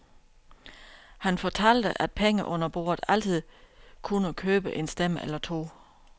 Han fortalte, at penge under bordet altid kunnet købe en stemme eller to.